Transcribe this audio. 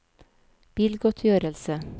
bilgodtgjørelse